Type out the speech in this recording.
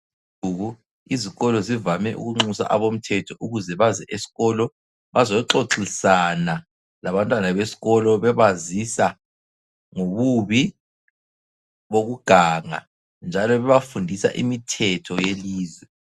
Izikolo zivame ukunxusa abomthetho ukuze baze esikolo bazoxoxisana labantwana besikolo bebazisa ngobubi bokuganga njalo bebafundisa imithetho yelizwe.